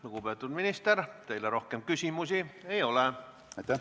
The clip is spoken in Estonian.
Lugupeetud minister, teile rohkem küsimusi ei ole.